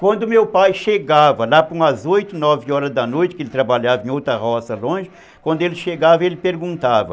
Quando meu pai chegava, lá por umas oito, nove horas da noite, que ele trabalhava em outra roça longe, quando ele chegava, ele perguntava...